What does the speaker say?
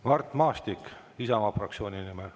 Mart Maastik Isamaa fraktsiooni nimel.